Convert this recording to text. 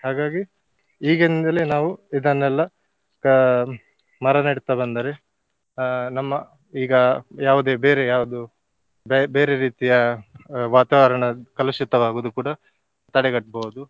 ಹಾಗಾಗಿ ಈಗಿಂದಲೇ ನಾವು ಇದನ್ನೆಲ್ಲ ಅಹ್ ಮರ ನೆಡ್ತ ಬಂದರೆ ಆ ನಮ್ಮ ಈಗ ಯಾವುದೇ ಬೇರೆ ಯಾವುದು ಬೆ~ ಬೇರೆ ರೀತಿಯ ವಾತಾವರಣ ಕಲುಷಿತವಾಗುವುದು ಕೂಡ ತಡೆಗಟ್ಟ್ಬಹುದು.